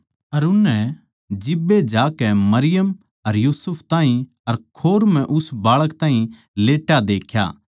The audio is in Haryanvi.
अर उननै जिब्बे जाकै मरियम अर यूसुफ ताहीं अर खोर म्ह उस बाळक ताहीं लेट्या देख्या